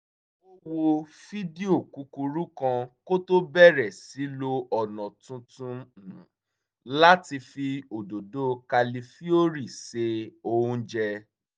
ó wo fídíò kúkurú kan kó tó bẹ̀rẹ̀ sí lo ọ̀nà tuntun láti fi òdòdó kálífìórì se oúnjẹ